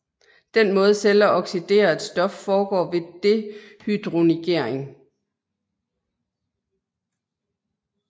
Den måde celler oxiderer et stof foregår ved dehydrogenering